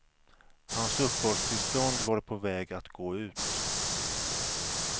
Hans uppehållstillstånd var på väg att gå ut.